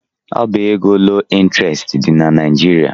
Ọbá égo loo ịntrestị dị na Naịjirịa.